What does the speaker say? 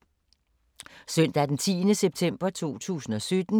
Søndag d. 10. september 2017